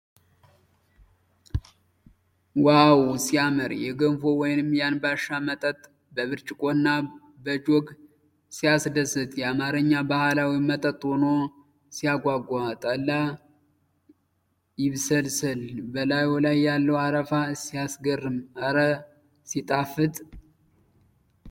ዋው ሲያምር! የገንፎ ወይንም የአንባሻ መጠጥ በብርጭቆና በጆግ ሲያስደስት ! የአማርኛ ባህላዊ መጠጥ ሆኖ ሲያጓጓ! ጠላ ይብስልስል። በላዩ ላይ ያለው አረፋ ሲያስገርም! እረ ሲጣፍጥ!